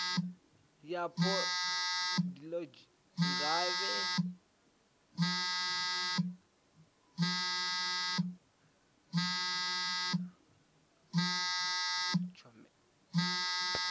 yapo dplg gavhelo ḽa tshomedzo